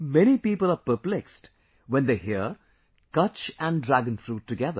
Many people are perplexed when they hear Kutch & Dragon fruit together